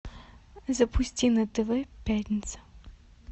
запусти на тв пятница